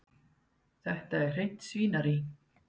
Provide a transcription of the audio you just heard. Þetta er hreint svínarí.